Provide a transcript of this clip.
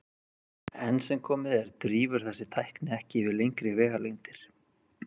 Enn sem komið er drífur þessi tækni ekki yfir lengri vegalengdir.